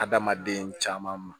Adamaden caman ma